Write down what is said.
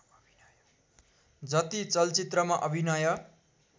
जति चलचित्रमा अभिनय